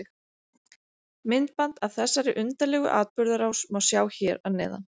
Myndband af þessari undarlegu atburðarás má sjá hér að neðan.